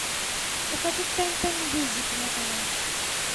покажи тнт мьюзик на тв